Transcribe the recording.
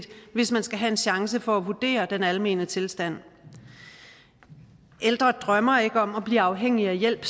hvis man skal have en chance for at vurdere den almene tilstand ældre drømmer ikke om at blive afhængig af hjælp